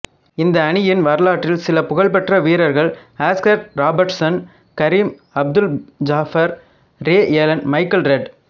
இந்த அணியின் வரலாற்றில் சில புகழ்பெற்ற வீரர்கள் Oscar Robertson Kareem Abdul Jabbar Ray Allen Michael red